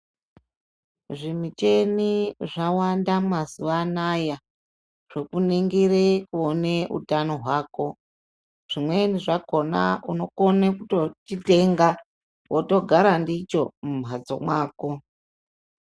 Zvimicheni zvawanda mazuwa anaya zvokuningire kuone utano hwako zvimweni zvakona unokone kutochitenga wotogara ndicho mumhatso mwako.